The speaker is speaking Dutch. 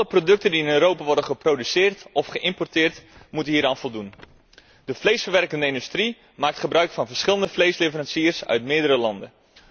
Alle producten die in Europa worden geproduceerd of geïmporteerd, moeten hieraan voldoen. De vleesverwerkende industrie maakt gebruik van verschillende vleesleveranciers uit meerdere landen.